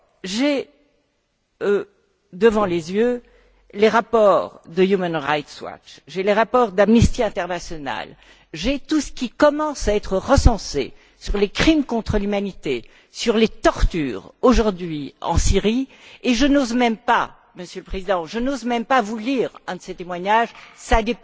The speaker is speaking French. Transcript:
J'ai devant les yeux les rapports de Human Rights Watch ceux d' Amnesty International j'ai tout ce qui commence à être recensé sur les crimes contre l'humanité, sur les tortures aujourd'hui en Syrie et je n'ose même pas, Monsieur le Président, vous lire un de ces témoignages car